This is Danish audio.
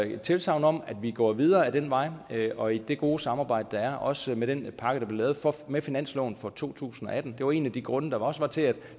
et tilsagn om at vi går videre ad den vej og i det gode samarbejde der er også med den pakke der blev lavet med finansloven for to tusind og atten det var en af de grunde der også var til at det